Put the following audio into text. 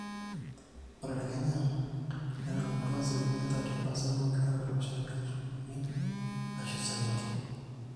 ore te kenya netang'amutwa asilimia 13% oonkituaak ilo shani katitin uni aashu saidi